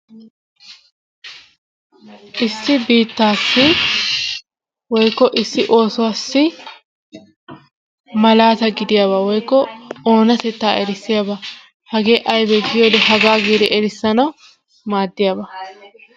issi biittaappe woykko isi oosuwassi malaata gidiyaba woykko oonatetta erisiyaba hagee aybee gidi erisanawu maadiyaba.